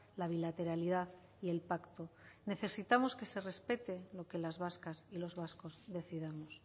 la bilateralidad y el pacto necesitamos que se respete lo que las vascas y los vascos decidamos